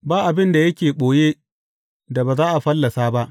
Ba abin da yake ɓoye da ba za a fallasa ba.